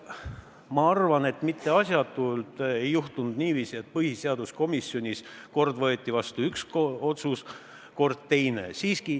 Ma arvan, et mitte asjatult ei juhtunud niiviisi, et põhiseaduskomisjonis võeti kord vastu üks otsus, kord teine.